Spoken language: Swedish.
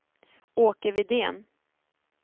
Åke Widén